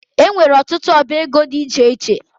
E nwere ọtụtụ ọbá égo dị iche iche